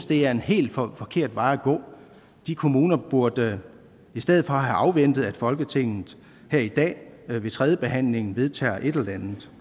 det er en helt forkert vej at gå de kommuner burde i stedet have afventet at folketinget her i dag ved tredjebehandlingen vedtager et eller andet